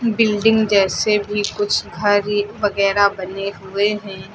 Building जैसे भी कुछ घरि वगैरा बने हुए हैं।